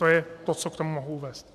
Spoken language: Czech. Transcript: To je to, co k tomu mohu uvést.